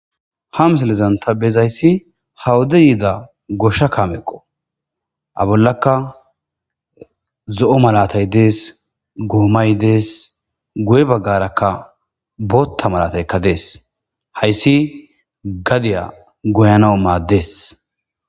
ha misilizanta bezayssi hawode yiida goshsha kaameqo a bollaka zo7o malatay dees goomay dees guye baggarakka bootta malataykka dees hayssi gadiya goyanao maaddees